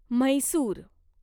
Mysore